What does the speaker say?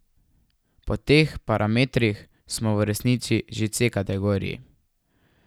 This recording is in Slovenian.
Po teh parametrih smo v resnici že v C kategoriji.